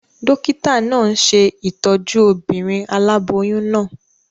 Dókítà náà n ṣe ìtọ́jú obìnrin aláboyún náà